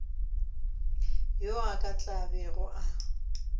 yo a tla bego a